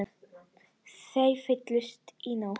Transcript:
Þeir fylltust í nótt.